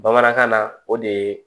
Bamanankan na o de ye